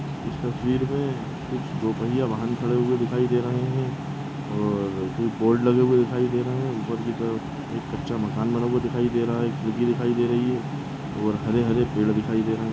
इस तस्वीर मे कुछ दो पहिये वाहन खड़े हुए दिखाई दे रहे है और कुछ बोर्ड लगे हुआ दिखाई दे रहे है ऊपर की तरफ एक कच्चा मकान बना हुआ दिखाई दे रहा है एक मुर्गी दिखाई दे रही है और हरे हरे पेड़ दिखाई दे रहे है।